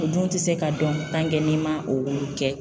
O dun tɛ se ka dɔn n'i man olu kɛ.